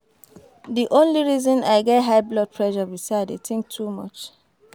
The only reason I get high blood pressure be say I dey think too much